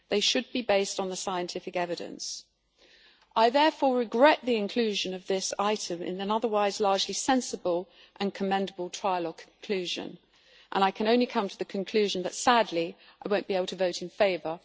They should be based on the scientific evidence. I therefore regret the inclusion of this item in an otherwise largely sensible and commendable trilogue conclusion and I can only come to the conclusion that, sadly, I will not be able to vote in favour.